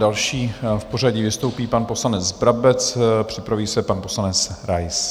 Další v pořadí vystoupí pan poslanec Brabec, připraví se pan poslanec Rais.